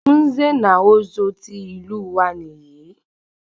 Nze na Ozo tí ìlú wa níyì